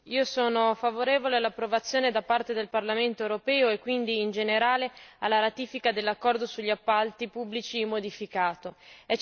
Signor Presidente, sono favorevole all'approvazione da parte del Parlamento europeo e quindi, in generale, alla ratifica dell'accordo sugli appalti pubblici modificato.